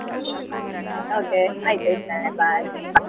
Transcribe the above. Okay ಆಯ್ತು ಇಡ್ತೇನೆ bye .